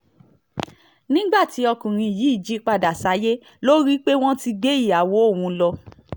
nígbà tí ọkùnrin yìí jí padà sáyé ló rí i pé wọ́n ti gbé ìyàwó òun lọ